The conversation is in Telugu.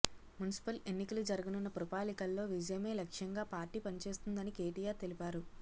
మున్సిపల్ ఎన్నికలు జరగనున్న పురపాలికల్లో విజయమే లక్ష్యంగా పార్టీ పనిచేస్తుందని కేటీఆర్ తెలిపారు